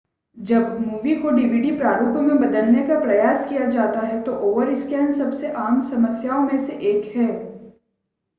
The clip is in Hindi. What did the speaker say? जब मूवी को डीवीडी प्रारूप में बदलने का प्रयास किया जाता है तो ओवरस्कैन सबसे आम समस्याओं में से एक है